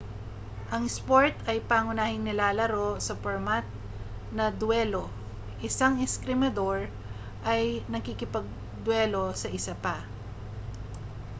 ang isport ay pangunahing nilalaro sa pormat na dwelo isang eskrimador ay nakikipagdwelo sa isa pa